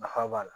Nafa b'a la